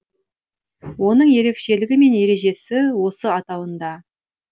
оның ерекшелігі мен ережесі осы атауында